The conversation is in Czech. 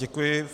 Děkuji.